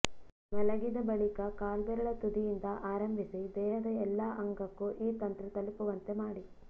ಮಲಗಿದ ಬಳಿಕ ಕಾಲ್ಬೆರಳ ತುದಿಯಿಂದ ಆರಂಭಿಸಿ ದೇಹದ ಎಲ್ಲ ಅಂಗಕ್ಕೂ ಈ ತಂತ್ರ ತಲುಪುವಂತೆ ಮಾಡಿ